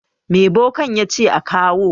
Me bokan ya ce a kawo?